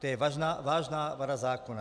To je vážná vada zákona.